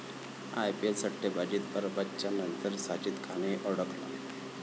IPL सट्टेबाजीत अरबाजच्या नंतर साजिद खानही अडकला?